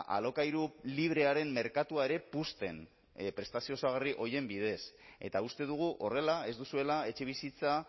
alokairu librearen merkatua ere puzten prestazio osagarri horien bidez eta uste dugu horrela ez duzuela etxebizitza